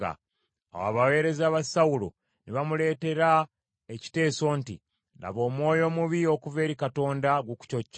Awo abaweereza ba Sawulo ne bamuleetera ekiteeso nti, “Laba, omwoyo omubi okuva eri Katonda gukucocca.